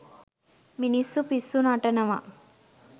මිනිස්සු පිස්සු නටනවා.